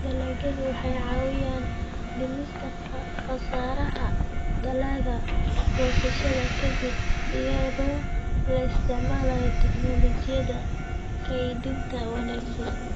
Dalagyadu waxay caawiyaan dhimista khasaaraha dalagga goosashada ka dib iyadoo la isticmaalayo tignoolajiyada kaydinta wanaagsan.